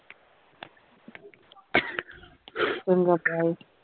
ਚੰਗਾ bye